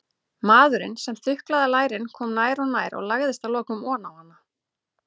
Maðurinn sem þuklaði lærin kom nær og nær og lagðist að lokum oná hana.